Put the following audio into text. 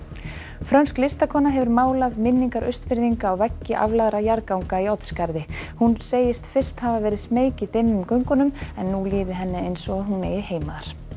frönsk listakona hefur málað minningar Austfirðinga á veggi aflagðra jarðganga í Oddsskarði hún segist fyrst hafa verið smeyk í dimmum göngunum en nú líði henni eins og hún eigi heima